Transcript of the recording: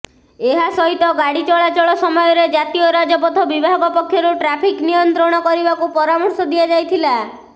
ଏହା ସହିତ ଗାଡି ଚଳାଚଳ ସମୟରେ ଜାତୀୟ ରାଜପଥ ବିଭାଗ ପକ୍ଷରୁ ଟ୍ରାଫିକ ନିୟନ୍ତ୍ରଣ କରିବାକୁ ପରାମର୍ଶ ଦିଆଯାଇଥିଲା